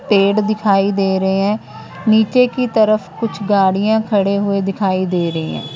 पेड़ दिखाई दे रहे हैं नीचे की तरफ कुछ गाड़ियां खड़े हुए दिखाई दे रही हैं।